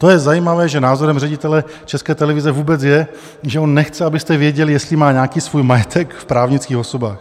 To je zajímavé, že názorem ředitele České televize vůbec je, že on nechce, abyste věděli, jestli má nějaký svůj majetek v právnických osobách.